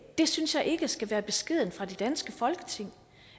det synes jeg ikke skal være beskeden fra det danske folketing